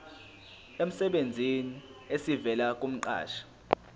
emsebenzini esivela kumqashi